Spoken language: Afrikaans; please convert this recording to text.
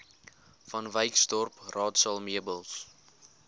vanwyksdorp raadsaal meubels